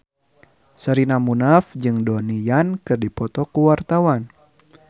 Sherina Munaf jeung Donnie Yan keur dipoto ku wartawan